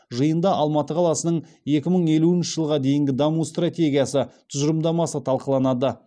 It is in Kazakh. жиында алматы қаласының екі мың елуінші жылға дейінгі даму стратегиясы тұжырымдамасы талқыланады